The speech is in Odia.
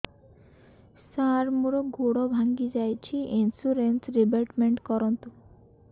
ସାର ମୋର ଗୋଡ ଭାଙ୍ଗି ଯାଇଛି ଇନ୍ସୁରେନ୍ସ ରିବେଟମେଣ୍ଟ କରୁନ୍ତୁ